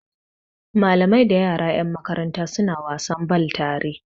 Malamai da yara yan makaranta suna wasan bal tare